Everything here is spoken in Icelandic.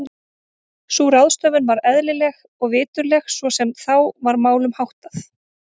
Sú ráðstöfun var eðlileg og viturleg svo sem þá var málum háttað.